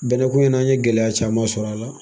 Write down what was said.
Bɛnɛ ko in'an ye gɛlɛya caman sɔrɔ a la.